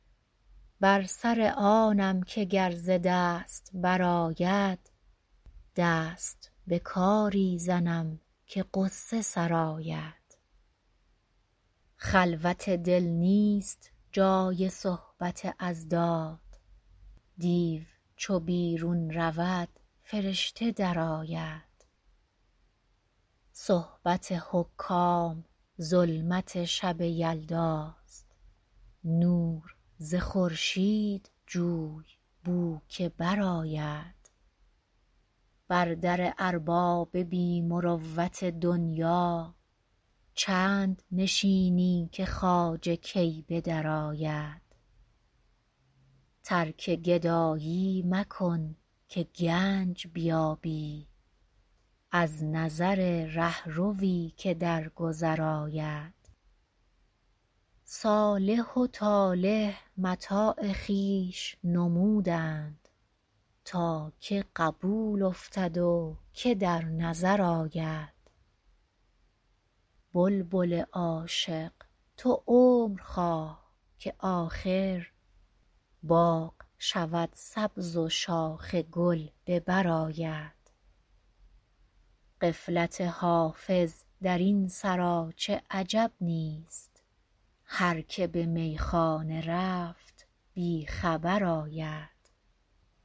بر سر آنم که گر ز دست برآید دست به کاری زنم که غصه سرآید خلوت دل نیست جای صحبت اضداد دیو چو بیرون رود فرشته درآید صحبت حکام ظلمت شب یلداست نور ز خورشید جوی بو که برآید بر در ارباب بی مروت دنیا چند نشینی که خواجه کی به درآید ترک گدایی مکن که گنج بیابی از نظر رهروی که در گذر آید صالح و طالح متاع خویش نمودند تا که قبول افتد و که در نظر آید بلبل عاشق تو عمر خواه که آخر باغ شود سبز و شاخ گل به بر آید غفلت حافظ در این سراچه عجب نیست هر که به میخانه رفت بی خبر آید